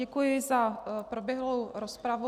Děkuji za proběhlou rozpravu.